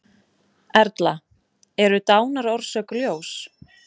Erla: Eru dánarorsök ljós?